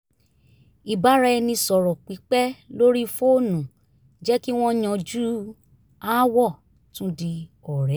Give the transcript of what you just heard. ìbáraẹnisọ̀rọ̀ pípẹ́ lórí fóònù jẹ́ kí wọ́n yanjú aáwọ̀ tún di ọ̀rẹ́